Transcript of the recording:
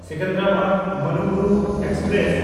Secunderabad Manuguru express